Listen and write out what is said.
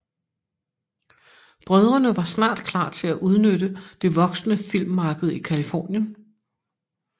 Brødrene var snart klar til at udnytte det voksende filmmarked i Californien